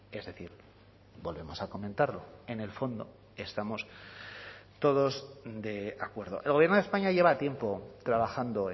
es decir volvemos a comentarlo en el fondo estamos todos de acuerdo el gobierno de españa lleva tiempo trabajando